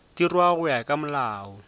dirwa go ya ka molao